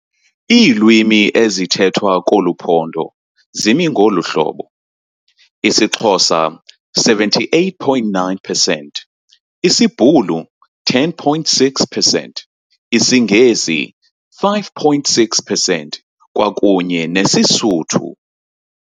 Iilwimi ezithethwa koluPhondo zimi ngoluhlobo - isiXhosa, 78.9 percent, isiBhulu, 10,6 percent, isiNgesi, 5,6 percent kwakunye nesiSuthu.